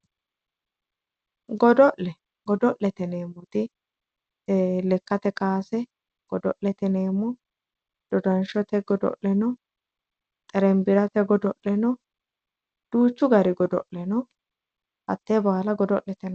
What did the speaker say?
Godo'le, godo'lete yineemmoti ee lekkate kowaase godo'lete yineemmo dodanshote godo'leno, xerebbirate godo'leno duuchu gari godo'le no hatte baalla godo'lete yineemmo.